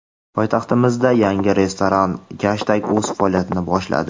poytaxtimizda yangi restoran - "Gashtak" o‘z faoliyatini boshladi.